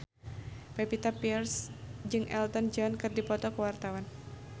Pevita Pearce jeung Elton John keur dipoto ku wartawan